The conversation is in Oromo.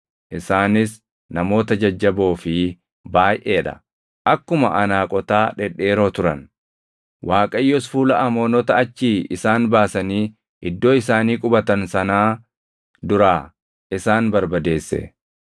Isaanis namoota jajjaboo fi baayʼee dha; akkuma Anaaqotaa dhedheeroo turan. Waaqayyos fuula Amoonota achii isaan baasanii iddoo isaanii qubatan sanaa duraa isaan barbadeesse.